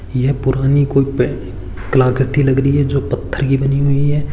यह पुरानी कोई कलाकृति लग रही है पत्थर कि बनी हुई है।